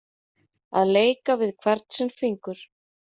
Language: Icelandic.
Að leika við hvern sinn fingur